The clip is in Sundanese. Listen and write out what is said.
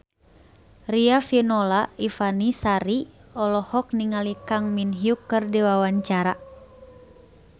Riafinola Ifani Sari olohok ningali Kang Min Hyuk keur diwawancara